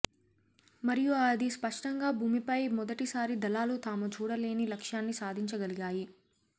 మరియు అది స్పష్టంగా భూమిపై మొదటి సారి దళాలు తాము చూడలేని లక్ష్యాన్ని సాధించగలిగాయి